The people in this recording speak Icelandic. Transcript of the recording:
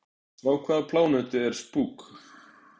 Frá hvaða plánetu er Spock?